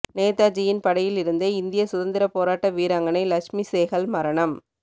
நேதாஜியின் படையில் இருந்த இந்திய சுதந்திர போராட்ட வீராங்கனை லக்ஷ்மி சேகல் மரணம்